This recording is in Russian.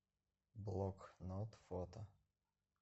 блокнот фото